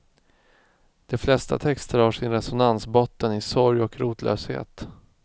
De flesta texter har sin resonansbotten i sorg och rotlöshet.